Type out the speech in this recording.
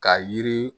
Ka yiri